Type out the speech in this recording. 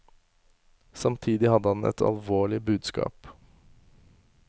Samtidig hadde han et alvorlig budskap.